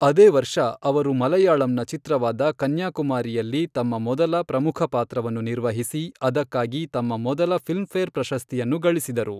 ಅದೇ ವರ್ಷ, ಅವರು ಮಲಯಾಳಂ ಚಿತ್ರವಾದ ಕನ್ಯಾಕುಮಾರಿಯಲ್ಲಿ ತಮ್ಮ ಮೊದಲ ಪ್ರಮುಖ ಪಾತ್ರವನ್ನು ನಿರ್ವಹಿಸಿ, ಅದಕ್ಕಾಗಿ ತಮ್ಮ ಮೊದಲ ಫಿಲ್ಮ್ಫೇರ್ ಪ್ರಶಸ್ತಿಯನ್ನು ಗಳಿಸಿದರು.